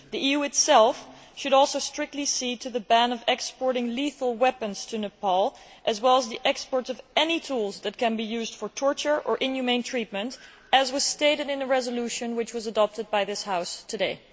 The EU itself should also strictly adhere to a ban on exporting lethal weapons to Nepal as well as the export of any tools which can be used for torture or inhumane treatment, as was stated in the resolution which was adopted by this House today.